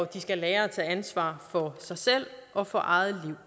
de skal lære at tage ansvar for sig selv og for eget